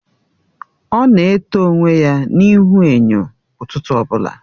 Ọ na eto onwe ya n'ihu enyo ụtụtụ ọbụla.